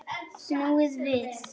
Snúið við!